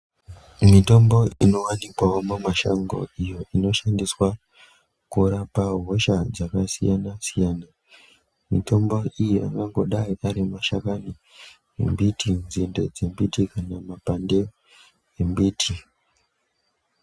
Mitombo inowanikwawo mumashango iyo inoshandiswa kurapa hosha dzakasiyana siyana, mitombo iyo angadai ari mashakani embiti, nzinde dzembiti kana mapande embiti